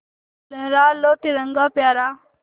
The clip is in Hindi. लहरा लो तिरंगा प्यारा